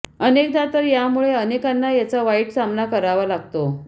अनेकदा तर यामुळे अनेकांना याचा वाईट सामना करावा लागतो